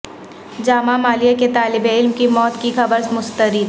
جامعہ ملیہ کے طالب علم کی موت کی خبر مسترد